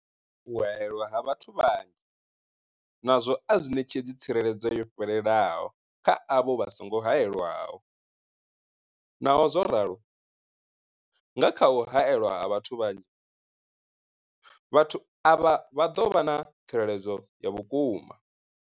U haelwa ha vhathu vhanzhi nazwo a zwi ṋetshedzi tsireledzo yo fhelelaho kha avho vha songo haelwaho. Naho zwo ralo, nga kha u haelwa ha vhathu vhanzhi, vhathu avha vha ḓo vha na tsireledzo ya vhukuma.